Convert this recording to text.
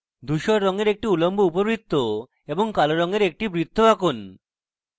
ধূসর রঙের একটি উল্লম্ব উপবৃত্ত এবং কালো রঙের একটি বৃত্ত তৈরী করুন